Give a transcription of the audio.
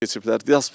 keçiblər.